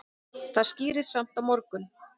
Það skýrist samt á morgun.